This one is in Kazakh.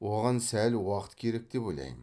оған сәл уақыт керек деп ойлаймын